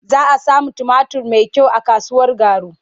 Za a sami tumatur mai kyau a kasuwar Garu.